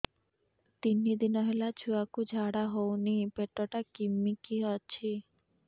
ତିନି ଦିନ ହେଲା ଛୁଆକୁ ଝାଡ଼ା ହଉନି ପେଟ ଟା କିମି କି ଅଛି